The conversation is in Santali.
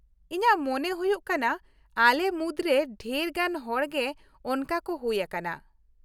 ᱤᱧᱟᱹᱜ ᱢᱚᱱᱮ ᱦᱩᱭᱩᱜ ᱠᱟᱱᱟ ᱟᱞᱮ ᱢᱩᱫᱨᱮ ᱰᱷᱮᱨ ᱜᱟᱱ ᱦᱚᱲ ᱜᱮ ᱚᱱᱠᱟ ᱠᱚ ᱦᱩᱭ ᱟᱠᱟᱱᱟ ᱾